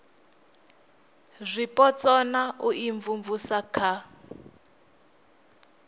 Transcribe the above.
zwipotso na u imvumvusa kha